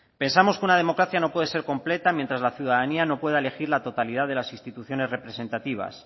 pensamos que una democracia no puede ser completa mientras la ciudadanía no pueda elegir la totalidad de las instituciones representativas